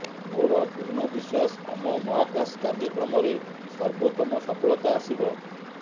ମୋର ପୂର୍ଣ୍ଣ ବିଶ୍ୱାସ ଆମ ମହାକାଶ କାର୍ଯ୍ୟକ୍ରମରେ ସର୍ବୋତ୍ତମ ସଫଳତା ଆସିବ